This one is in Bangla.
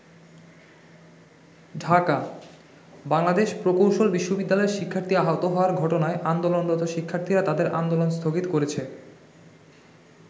ঢাকা: বাংলাদেশ প্রকৌশল বিশ্ববিদ্যালয়ের শিক্ষার্থী আহত হওয়ার ঘটনায় আন্দোলনরত শিক্ষার্থীরা তাদের আন্দোলন স্থগিত করেছে।